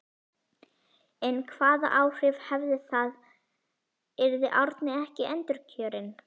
En hvaða áhrif hefði það yrði Árni ekki endurkjörinn?